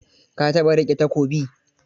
Ka taɓa riƙe takobi?